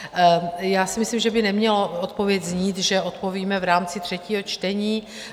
Já si myslím, že by neměla odpověď znít, že "odpovíme v rámci třetího čtení".